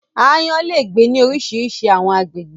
Ààyan lé gbe ni orisirisi àwọn àgbégbè